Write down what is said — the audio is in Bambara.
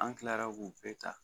An kilara k'u bɛɛ ta